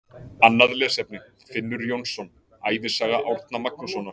Annað lesefni: Finnur Jónsson, Ævisaga Árna Magnússonar.